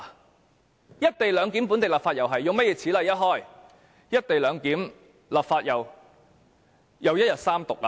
同樣，"一地兩檢"本地立法，如果此例一開，會否又是一天內完成三讀呢？